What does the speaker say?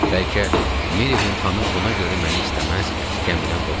Bəlkə Milliqan xanım buna görə məni istəməz, gəmidən qovardı.